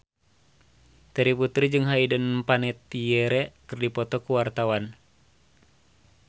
Terry Putri jeung Hayden Panettiere keur dipoto ku wartawan